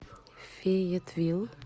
фейетвилл